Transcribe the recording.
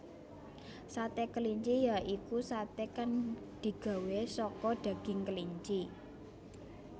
Sate kelinci ya iku satè kang digawé saka daging kelinci